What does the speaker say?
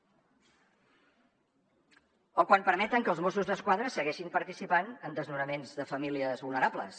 o quan permeten que els mossos d’esquadra segueixin participant en desnonaments de famílies vulnerables